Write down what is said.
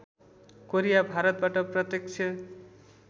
Korea भारतबाट प्रत्यक्ष